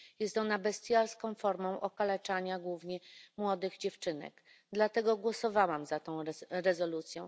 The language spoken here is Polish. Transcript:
Jest ona bestialską formą okaleczania, głównie młodych dziewczynek, dlatego głosowałam za tą rezolucją.